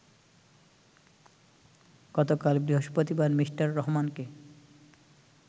গতকাল বৃহস্পতিবার মিঃ রহমানকে